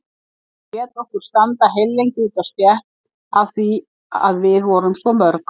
Hún lét okkur standa heillengi úti á stétt af því að við vorum svo mörg.